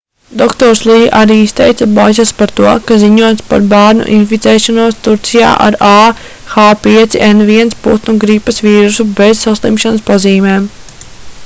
dr. lī arī izteica bažas par to ka ziņots par bērnu inficēšanos turcijā ar ah5n1 putnu gripas vīrusu bez saslimšanas pazīmēm